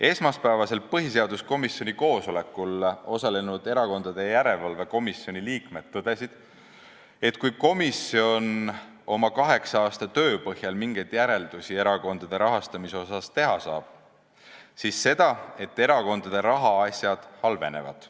Esmaspäevasel põhiseaduskomisjoni koosolekul osalenud Erakondade Rahastamise Järelevalve Komisjoni liikmed tõdesid, et kui komisjon oma kaheksa-aastase töö põhjal erakondade rahastamise kohta mingeid järeldusi teha saab, siis seda, et erakondade rahaasjad halvenevad.